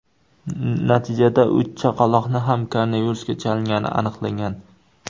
Natijada uch chaqaloqning ham koronavirusga chalingani aniqlangan.